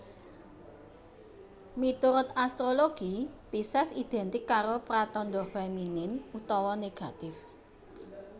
Miturut astrologi Pises identik karo pratandha feminin utawa negatif